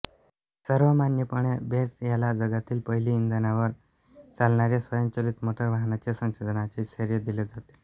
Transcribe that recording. सर्वमान्यपणे Benz याला जगातील पहिली इंधनावर चालणाऱ्या स्वयंचलित मोटारवाहनाच्या संशोधनाचे श्रेय दिले जाते